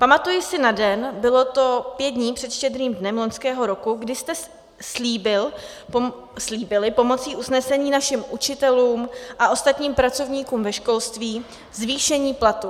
Pamatuji si na den, bylo to pět dní před Štědrým dnem loňského roku, kdy jste slíbili pomocí usnesení našim učitelům a ostatním pracovníkům ve školství zvýšení platu.